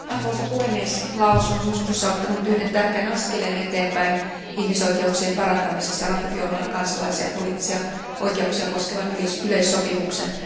Arvoisa puhemies, Laos on syyskuussa ottanut yhden tärkeän askeleen eteenpäin ihmisoikeuksien parantamisessa ratifioimalla kansalaisten poliittisia oikeuksia koskevan yleissopimuksen.